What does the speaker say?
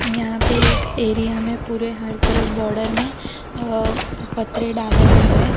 यहां पे एक एरिया में पूरे हर तरफ बॉडर में अह पतरे डाले हुए है।